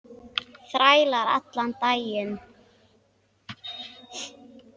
Þræla allan daginn!